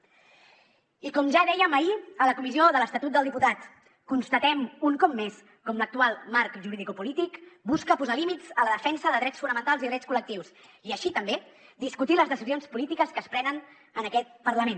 i com ja dèiem ahir a la comissió de l’estatut dels diputats constatem un cop més com l’actual marc juridicopolític busca posar límits a la defensa de drets fonamentals i drets col·lectius i així també discutir les decisions polítiques que es prenen en aquest parlament